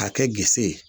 K'a kɛ gse ye